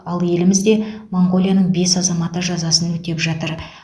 ал елімізде моңғолияның бес азаматы жазасын өтеп жатыр